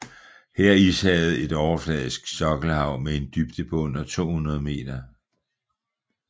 Her er Ishavet et overfladisk sokkelhav med en dybde på under 200 meter